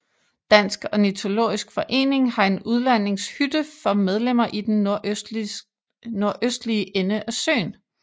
Dansk Ornitologisk Forening har en udlejningshytte for medlemmer i den nordøstlige ende af søen